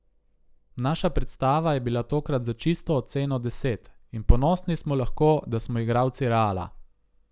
Naša predstava je bila tokrat za čisto oceno deset, in ponosni smo lahko, da smo igralci Reala.